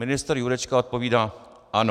Ministr Jurečka odpovídá: Ano.